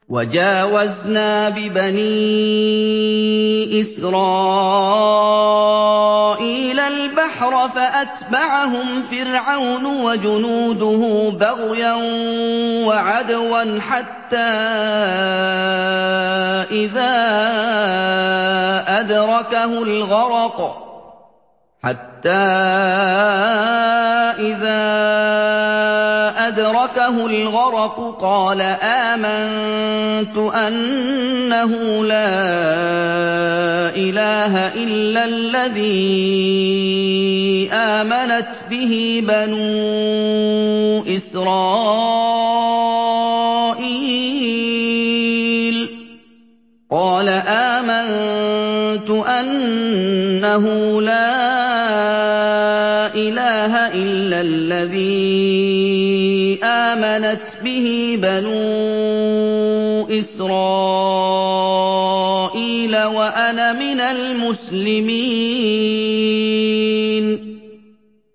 ۞ وَجَاوَزْنَا بِبَنِي إِسْرَائِيلَ الْبَحْرَ فَأَتْبَعَهُمْ فِرْعَوْنُ وَجُنُودُهُ بَغْيًا وَعَدْوًا ۖ حَتَّىٰ إِذَا أَدْرَكَهُ الْغَرَقُ قَالَ آمَنتُ أَنَّهُ لَا إِلَٰهَ إِلَّا الَّذِي آمَنَتْ بِهِ بَنُو إِسْرَائِيلَ وَأَنَا مِنَ الْمُسْلِمِينَ